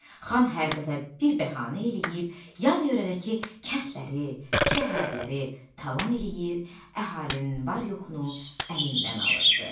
Xan hər dəfə bir bəhanə eləyib, yan-yörədəki kəndləri, şəhərləri talan eləyir, əhalinin var-yoxunu əlindən alırdı.